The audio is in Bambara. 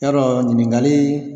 Yɔrɔ ɲininkakali